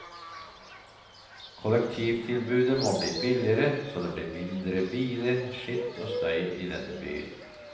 Kollektivtilbudet må bli billigere, så blir det mindre biler, skitt og støy i denne byen.